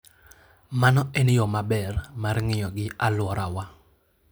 Mano en yo maber mar ng'iyo gi alworawa.